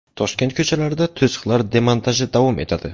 Toshkent ko‘chalarida to‘siqlar demontaji davom etadi.